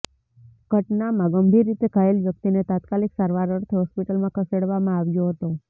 ઘટનામાં ગંભીર રીતે ઘાયલ વ્યક્તિને તાત્કાલિક સારવાર અર્થે હોસ્પિટલમાં ખસેડવામાં આવ્યો હતો